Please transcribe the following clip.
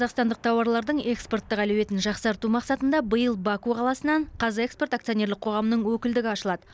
қазақстандық тауарлардың экспорттық әлеуетін жақсарту мақсатында биыл баку қаласынан қазэкспорт акционерлік қоғамы өкілдігі ашылады